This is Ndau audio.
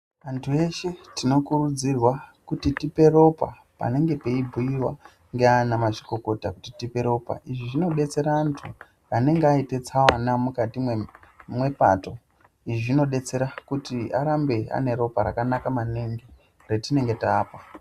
Antu eshe tinokurudzirwa kuti tipe ropa panenge peibhuiwa ngeana mazvikokota kuti tipe ropa. Izvi zvinodetsera antu anenge aite tsaona mukati mwepato. Izvi zvinodetsera kuti arambe ane ropa rakanaka maningi retinenge taapa.